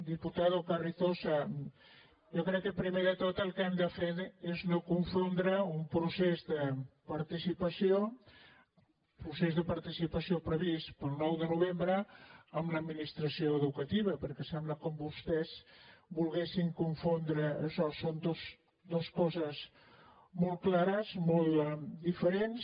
diputadoprimer de tot el que hem de fer és no confondre un procés de participació procés de participació previst per al nou de novembre amb l’administració educativa perquè sembla com si vostès volguessin confondre això són dues coses molt clares molt diferents